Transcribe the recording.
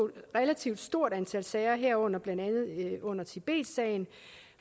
relativt stort antal sager herunder tibetsagen